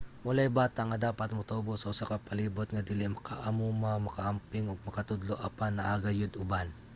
walay bata nga dapat motubo sa usa ka palibot nga dili maka-amuma maka-amping ug makatudlo apan naa gayud uban